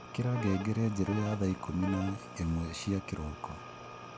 ikira ngengere njeru ya thaa ikumi na imwe cia kiroko